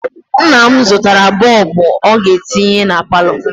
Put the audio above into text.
Nna m zụtara bọọbụ ọ ga-etinye na palọ.